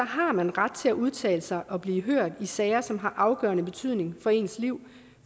har man ret til at udtale sig og blive hørt i sager som har afgørende betydning for ens liv